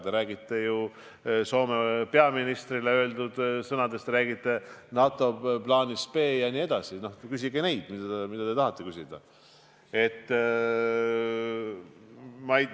Te räägite Soome peaministrile öeldud sõnadest, te räägite NATO plaanist B – no küsige asju, mida te tahate küsida.